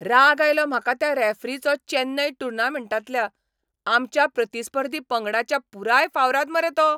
राग आयलो म्हाका त्या रॅफरीचो चॅन्नय टुर्नामेंटांतल्या, आमच्या प्रतिस्पर्धी पंगडाच्या पुराय फावराद मरे तो.